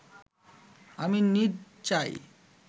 আমি নিঁদ যাই